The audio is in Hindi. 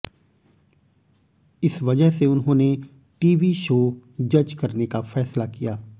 इस वजह से उन्होंने टीवी शो जज करने का फैसला किया